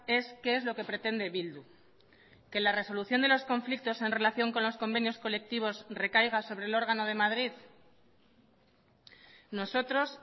es qué es lo que pretende bildu que la resolución de los conflictos en relación con los convenios colectivos recaiga sobre el órgano de madrid nosotros